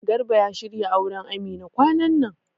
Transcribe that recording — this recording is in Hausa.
Garba ya shirya auran Amina kwanan nan